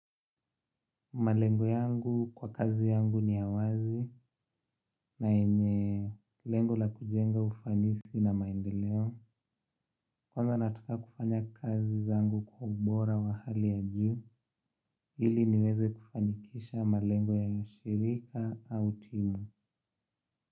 Malengo yangu kwa kazi yangu ni ya wazi na yenye lengo la kujenga ufanisi na maendeleo. Kwanza nataka kufanya kazi zangu kwa ubora wa hali ya juu, ili niweze kufanikisha malengo ya shirika au timu.